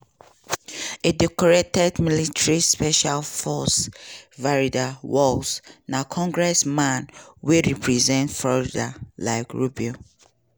a decorated military special forces veteran waltz na congressman wey represent florida like rubio.